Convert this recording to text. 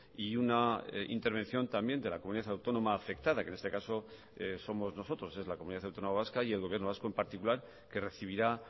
y una intervención también de la comunidad autónoma afectada que en este caso somos nosotros es la comunidad autónoma vasca y el gobierno vasco en particular que recibirá